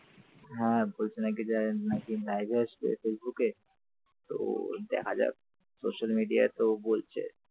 হ্যাঁ বলছে নাকি যে নাকি live আসবে ফেসবুকে তো দেখা যাক social media তো বলছে ।